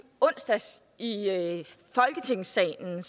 onsdags i folketingssalen